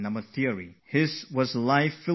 He had a life riddled with difficulties